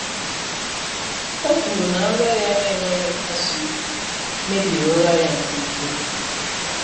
o kwuru na nrọ ya na-enweghị nkasi obi mebiri ụra ya nke ukwuu.